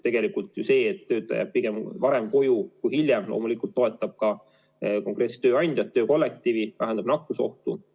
Tegelikult ju see, et töötaja jääb koju varem, mitte hiljem, loomulikult toetab ka konkreetset tööandjat, töökollektiivi, vähendab nakkusohtu.